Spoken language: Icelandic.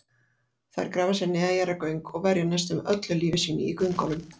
Þær grafa sér neðanjarðargöng og verja næstum öllu lífi sínu í göngunum.